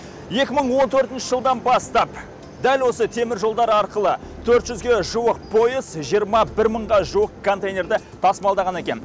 екі мың он төртінші жылдан бастап дәл осы теміржолдар арқылы төрт жүзге жуық пойыз жиырма бір мыңға жуық контейнерді тасымалдаған екен